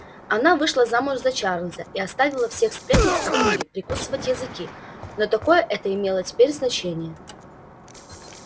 она вышла замуж за чарлза и оставила всех сплетниц округи прикусить языки но такое это имело теперь значение